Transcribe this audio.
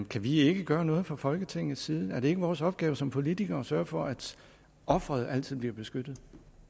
kan vi ikke gøre noget fra folketingets side er det ikke vores opgave som politikere at sørge for at offeret altid blive beskyttet